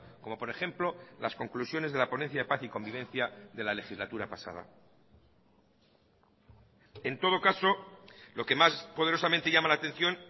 como por ejemplo las conclusiones de la ponencia de paz y convivencia de la legislatura pasada en todo caso lo que más poderosamente llama la atención